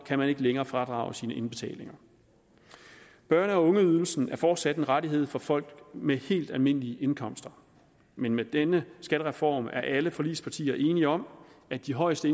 kan man ikke længere fradrage sine indbetalinger børne og ungeydelsen er fortsat en rettighed for folk med helt almindelige indkomster men med denne skattereform er alle forligspartier enige om at de højeste